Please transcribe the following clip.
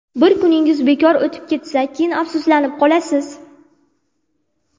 Bir kuningiz bekor o‘tib ketsa, keyin afsuslanib qolasiz.